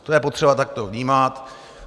To je potřeba takto vnímat.